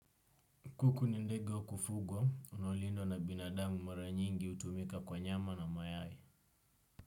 Kuku ni ndege wa kufugo, unaolindwa na binadamu mara nyingi utumika kwa nyama na mayayi.